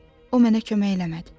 O mənə kömək eləmədi.